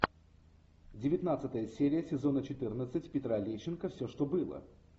девятнадцатая серия сезона четырнадцать петра лещенко все что было